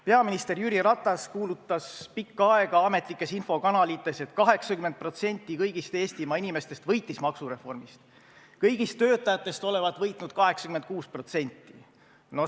Peaminister Jüri Ratas kuulutas pikka aega ametlikes infokanalites, et 80% kõigist Eestimaa inimestest võitis maksureformist, kõigist töötajatest olevat võitnud 86%.